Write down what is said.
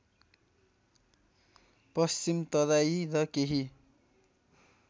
पश्चिम तराई र केही